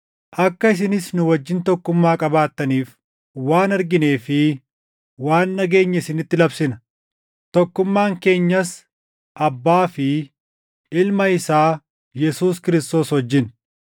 Akka isinis nu wajjin tokkummaa qabaattaniif waan arginee fi waan dhageenye isinitti labsina. Tokkummaan keenyas Abbaa fi Ilma isaa Yesuus Kiristoos wajjin.